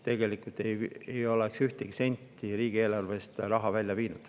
Tegelikult ei oleks see ühtegi senti riigieelarvest välja viinud.